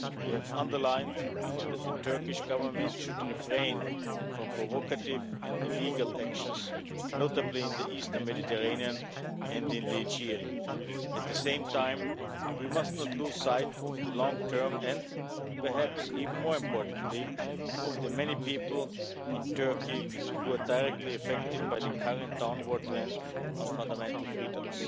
We have emphasised that the Turkish Government should refrain from provocative and illegal actions, notably in the eastern Mediterranean and in the Aegean. At the same time, we must not lose sight of the long term and, perhaps even more importantly, of the many people in Turkey who are directly affected by the current downward trend on fundamental freedoms.